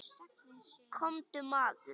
Komdu maður.